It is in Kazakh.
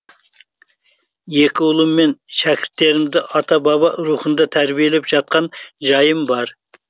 екі ұлым мен шәкірттерімді ата баба рухында тәрбиелеп жатқан жайым бар